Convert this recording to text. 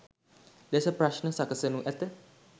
ලෙස ප්‍රශ්න සකසනු ඇත.